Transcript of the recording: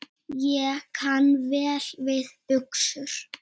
Ég kann vel við buxur.